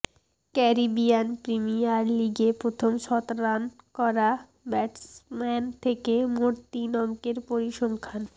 Caribbean Premier লিগে প্রথম শতরান করা ব্যাটসম্যান থেকে মোট তিন অঙ্কের পরিসংখ্যান